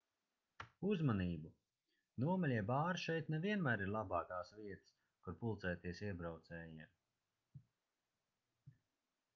uzmanību nomaļie bāri šeit ne vienmēr ir labākās vietas kur pulcēties iebraucējiem